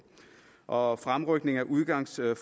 og fremrykning af udgangsforløbet